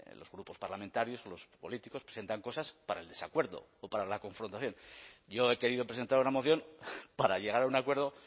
los grupos parlamentarios los políticos presentan cosas para el desacuerdo o para la confrontación yo he querido presentar una moción para llegar a un acuerdo